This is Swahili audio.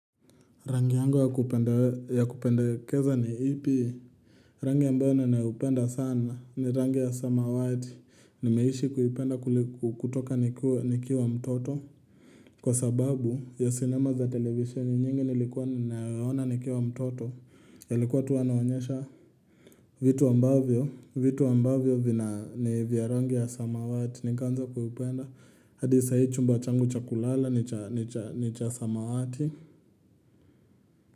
Rangi yangu ya kupendekeza ni ipi? Rangi ambao ninaupenda sana ni rangi ya samawati. Nimeishi kuipenda kutoka nikiwa mtoto. Kwa sababu ya cinema za televisheni nyingi nilikuwa ninayoona nikiwa mtoto yalikuwa tu wanaonyesha. Vitu ambavyo, vitu ambavyo ni vya rangi ya samawati. Nikaanza kuipenda, hadi sahii chumba changu cha kulala, ni cha samawati.